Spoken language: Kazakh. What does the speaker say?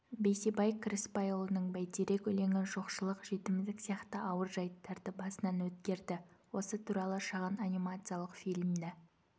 бейсебай кіріспайұлының бәйтерек өлеңі жоқшылық жетімдік сияқты ауыр жайттарды басынан өткерді осы туралы шағын анимациялық фильмді